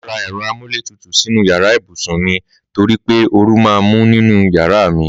Màá ra ẹ̀rọ amúlétutù sínú yàrá ibùsùn mi torí pé ooru máa ń mú nínú yàrá mi